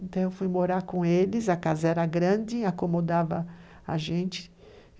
Então eu fui morar com eles, a casa era grande, acomodava a gente.